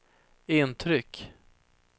intryck